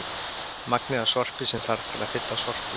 Magnið af sorpi sem þarf til að fylla sorpbíl.